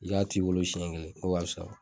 I k'a t'i bolo siyɛn kelen o ka fisa.